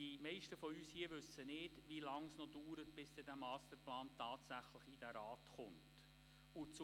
Die meisten von uns hier wissen nicht, wie lange es dauern wird, bis der Masterplan tatsächlich in diesen Rat kommt. «